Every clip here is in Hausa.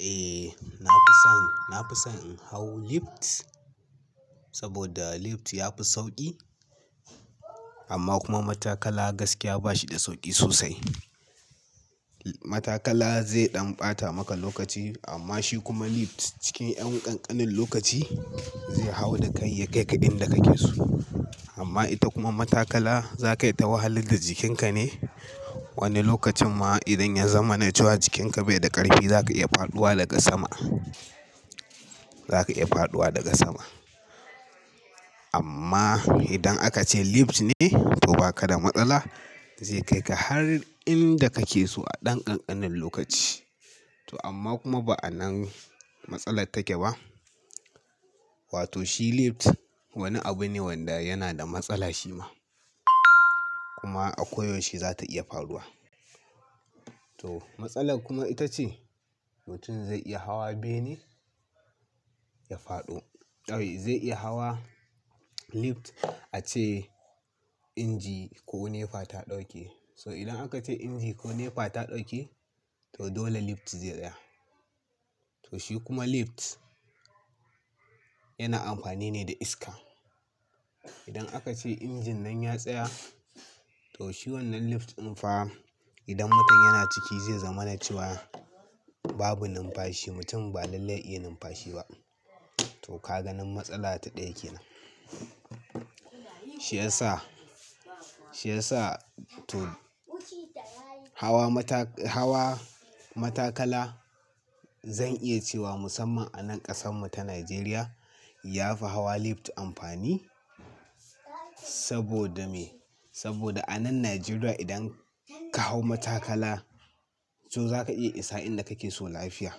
Eh, na fi son, na fi son in hau lift saboda lift yafi sauƙi amma kuma matakala gaskiya bashi da sauƙi sosai. Matakala zai ɗan ɓata maka lokaci amma shi kuma lift cikin ƴan ƙanƙanin lokaci zai hau da kai ya kai ka inda kake so. Amma ita kuma matakala zaka yi ta wahalu da jikinka ne. Wani lokacin ma idan ya zama na cewa jikinka bai da ƙarfi, zaka iya faɗuwa daga sama, zaka iya faɗuwa daga sama. Amma idan aka ce lift ne to baka da matsala, zai kai ka har inda kake so a ɗan ƙanƙanin lokaci. To amma kuma ba anan matsala take ba. Wato shi lift wani abu ne wanda yana da matsala shi ma. Kuma a koyaushe za ta iya faɗuwa. To matsalar kuma ita ce mutum zai iya hawa bene, ya faɗo. A'a, zai iya hawa lift ace inji ko nefa ta ɗauke. So idan aka ce inji ko nefa ta ɗauke to dole lift zai tsaya. To shi kuma lift yana amfani ne da iska. Idan aka ce injin nan ya tsaya to shi wannan lift din fa idan mutum yana ciki zai zama na cewa babu numfashi. Mutum ba lallai iya numfashi ba. To ka ganin matsala ta ɗaya kenan. Shi yasa, shi yasa to hawa mata- hawa matakala zan iya cewa musamman a nan ƙasan mu ta Najeriya ya fi hawa lift amfani. Saboda me? Saboda a nan Najeriya idan ka hau matakala to za ka iya isa inda kake so lafiya.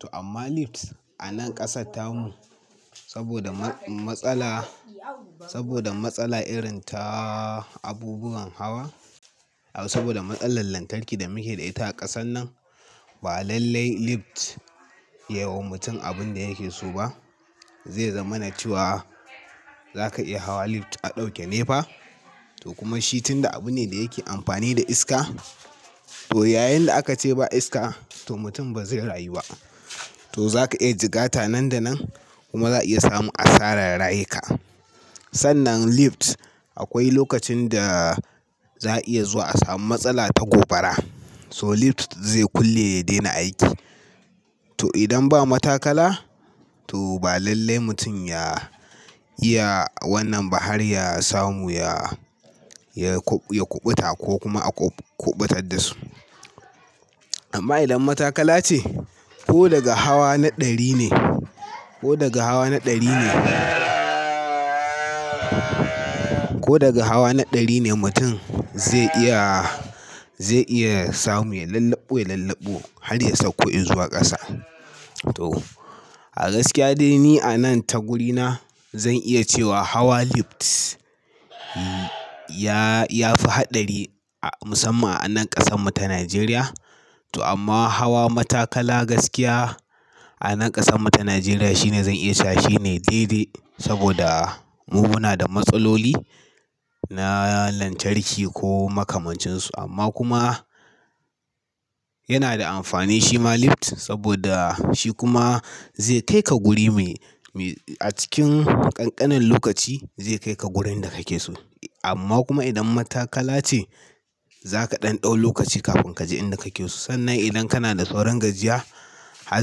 To amma lift a nan ƙasarta mu saboda ma- matsala, saboda matsala irin taa abubuwan hawa. A'a saboda matsalar lantarki da muke da ita a ƙasan nan, ba lallai lift ya wa mutum abin da yake so ba. Zai zama na cewa za ka iya hawa lift a ɗauke nefa to kuma shi tunda abu ne da yake amfani da iska to yayin da aka ce ba iska to mutum ba zai rayu ba. To za ka iya jigata nan da nan kuma za a iya samu asarar rayuka. Sannan lift akwai lokacin da za a iya zuwa a samu matsala ta gobara so lift zai kulle ya daina aiki. To idan ba matakala to ba lallai mutum ya iya wannan bahar ya samu ya, ya kuɓuta ko kuma a kuɓutar dasu. Amma idan matakala ce ko daga hawa na ɗari ne, ko daga hawa na ɗari ne, ko daga hawa na ɗari ne mutum zai iya, zai iya samu ya lallaɓo, ya lallaɓo har ya sauko in zuwa ƙasa. To a gaskiya dai ni a nan ta guri na zan iya cewa hawa lift ya, ya fi haɗari a musamman a nan ƙasan mu ta Najeriya. To amma hawa matakala gaskiya a nan ƙasan mu ta Najeriya shine zan iya cewa shine daidai saboda mu muna da matsaloli na lantarki ko makamancin su amma kuma yana da amfani shi ma lift saboda shi kuma zai kai ka guri me, me a cikin ƙanƙanin lokaci zai kai ka wurin da kake so. Amma kuma idan matakala ce za ka ɗan ɗau lokaci kafin kaji inda kake so. Sannan idan kana da sauran gajiya har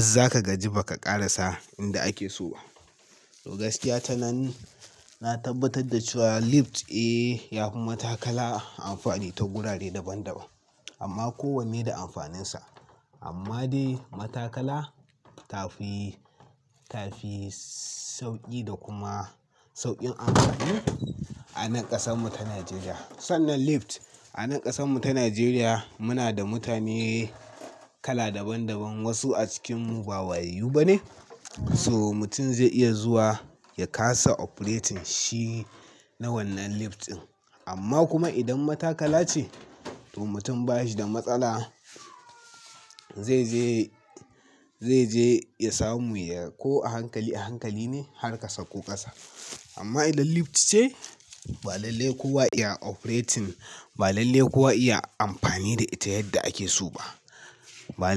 zaka gaji bakara sa inda ake so. To gaskiya ta nan na tabbatar da cewa lift, eh ya fi matakala amfani ta gurare daban daban amma kowanne da amfaninsa. Amma dai matakala tafi, tafi sauƙi da kuma sauƙin amfani a nan ƙasan mu ta Najeriya. Sannan lift a nan ƙasan mu ta Najeriya muna da mutane kala daban daban. Wasu a cikin mu ba wayayyu ba ne. So mutum zai iya zuwa ya kasa operating shi na wannan lift din. Amma kuma idan matakala ce to mutum bashi da matsala. Zai je, zai je ya samu ya ko a hankali a hankali ne har kasa ko ƙasa. Amma idan lift ce ba lallai kuwa iya operating, ba lallai kuwa iya amfani da ita yadda ake so ba. Ba lallai.